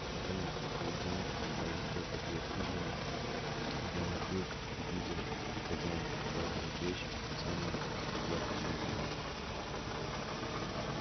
а потом наступил день когда в открытую дверь хижины белый клык увидел как хозяин укладывает вещи в тот самый проклятый чемодан